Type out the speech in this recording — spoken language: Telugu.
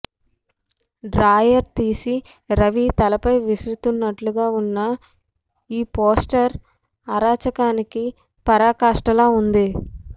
డ్రాయర్ తీసి రవి తలపై విసురుతున్నట్టుగా ఉన్న ఈపోస్టర్ అరాచకానికి పరాకాష్టలా ఉంది